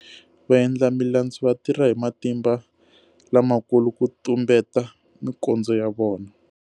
Vaendlamilandzu va tirha hi matimba lamakulu ku tumbeta mikondzo ya vona.